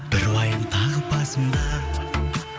бір уайым тағы басымда